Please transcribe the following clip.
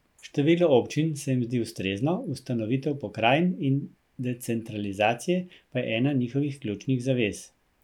Število občin se jim zdi ustrezno, ustanovitev pokrajin in decentralizacije pa je ena njihovih ključnih zavez.